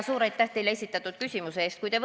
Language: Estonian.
Suur aitäh teile esitatud küsimuse eest!